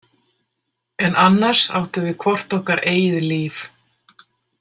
En annars áttum við hvort okkar eigið líf.